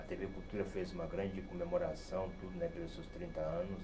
A tê vê Cultura fez uma grande comemoração tudo né pelos seus trinta anos.